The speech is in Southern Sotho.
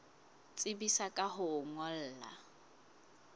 tsebisa ka ho o ngolla